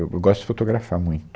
Eu eu gosto de fotografar muito.